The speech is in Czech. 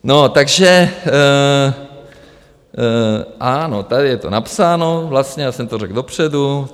No, takže ano, tady je to napsáno vlastně, já jsem to řekl dopředu.